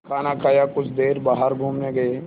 खाना खाया कुछ देर बाहर घूमने गए